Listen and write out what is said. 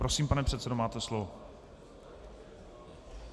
Prosím, pane předsedo, máte slovo.